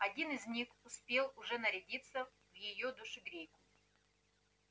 один из них успел уже нарядиться в её душегрейку